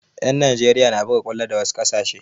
Yan Nijeriya na buga kwallo da wasu ƙasashe